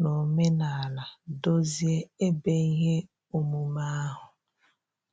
n'omenala dozie ebe ihe omume ahụ.